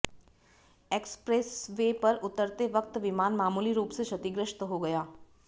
express way पर उतरते वक्त विमान मामूली रूप से क्षतिग्रस्त हो गया